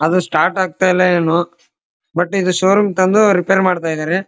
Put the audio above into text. ಅದು ಸ್ಟಾರ್ಟ್ ಆಗ್ತಿಲ್ಲ ಏನೊ ಬಟ್ ಇದು ಶೋ ರೂಮ್ ತಂದು ರಿಪೇರಿ ಮಾಡ್ತಾ ಇದಾರೆ.